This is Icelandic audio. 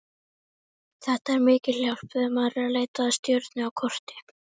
Þetta er mikil hjálp þegar maður er að leita að stjörnu á korti.